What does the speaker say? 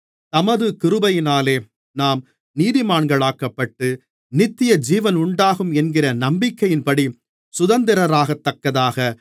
தமது கிருபையினாலே நாம் நீதிமான்களாக்கப்பட்டு நித்திய ஜீவனுண்டாகும் என்கிற நம்பிக்கையின்படி சுதந்திரராகத்தக்கதாக